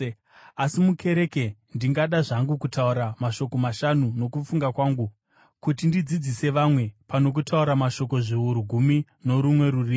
Asi mukereke ndingada zvangu kutaura mashoko mashanu nokufunga kwangu kuti ndidzidzise vamwe pano kutaura mashoko zviuru gumi norumwe rurimi.